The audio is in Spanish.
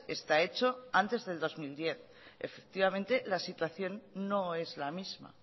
está hecho antes de dos mil diez efectivamente la situación no es la misma